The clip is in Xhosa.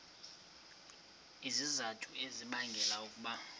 izizathu ezibangela ukuba